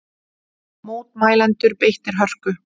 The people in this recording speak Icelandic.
Mótmælendur beittir hörku